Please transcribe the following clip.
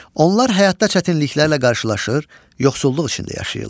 Onlar həyatda çətinliklərlə qarşılaşır, yoxsulluq içində yaşayırlar.